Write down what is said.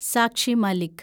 Sakshi Malik